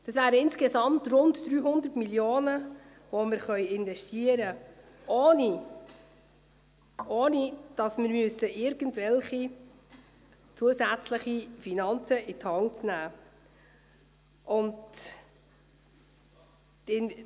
Das wären insgesamt rund 300 Mio. Franken, die wir investieren könnten, ohne dass wir irgendwelche zusätzlichen Finanzen in die Hand nehmen müssten.